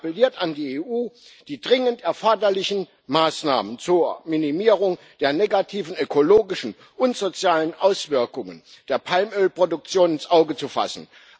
Er appelliert an die EU, die dringend erforderlichen Maßnahmen zur Minimierung der negativen ökologischen und sozialen Auswirkungen der Palmölproduktion ins Auge zu fassen.